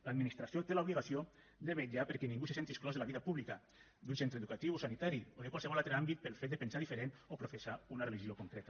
l’administració té l’obligació de vetllar perquè ningú se senti exclòs de la vida pública d’un centre educatiu o sanitari o de qualsevol altre àmbit pel fet de pensar diferent o professar una religió concreta